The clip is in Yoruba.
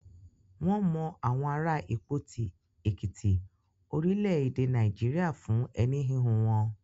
Wọn mọ àwọn ará Ìpòti, Èkìtí, orílẹ̀-èdè Nàìjíríà fún ẹni hihun wọn.